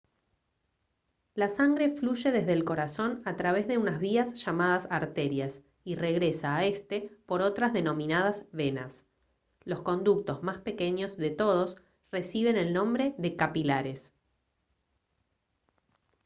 la sangre fluye desde el corazón a través de unas vías llamadas arterias y regresa a éste por otras denominadas venas los conductos más pequeños de todos reciben el nombre de capilares